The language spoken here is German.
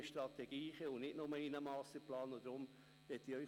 Wir haben ihn in der GPK untersucht.